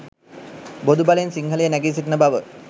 බොදු බලෙන් සිංහලය නැගී සිටින බව.